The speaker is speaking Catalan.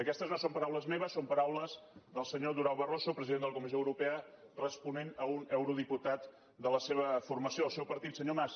aquestes no són paraules meves són paraules del senyor durão barroso president de la comissió europea responent a un eurodiputat de la seva formació del seu partit senyor mas